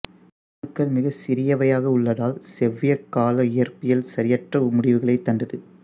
அணுக்கள் மிகச் சிறியவையாக உள்ளதால் செவ்வியற்கால இயற்பியல் சரியற்ற முடிவுகளையே தந்தது